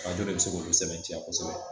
Arajo de bɛ se k'olu sɛbɛntiya kosɛbɛ